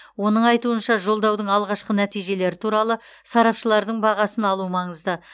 оның айтуынша жолдаудың алғашқы нәтижелері туралы сарапшылардың бағасын алу маңызды